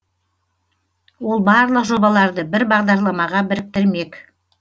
ол барлық жобаларды бір бағдарламаға біріктірмек